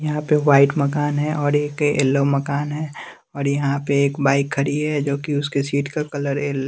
यहां पे व्हाइट मकान है और एक ऐल्लो मकान है और यहां पे एक बाइक खड़ी है जोकि उसके सीट का कलर ऐल --